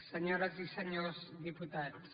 senyores i senyors diputats